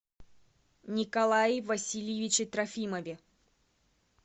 николае васильевиче трофимове